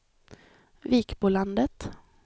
Vikbolandet